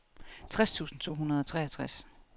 tres tusind to hundrede og treogtres